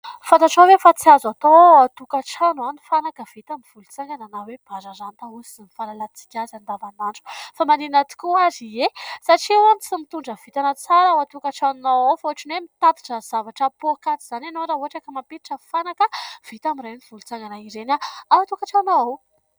Fantatrao ve fa tsy azo atao ao an-tokatrano ny fanaka vita amin'ny volontsangana na hoe bararata hoy ny fahalalan-tsika azy andavanandro. Fa maninona tokoa ary ? Ie, satria hono tsy mitondra vintana tsara ao an-tokatranonao ao fa ohatran'ny hoe mitatitra ny zavatra pokaty izany ianao raha ohatra ka mampiditra fanaka vita amin'ireny volontsagana ireny ao an-tokantrano ao.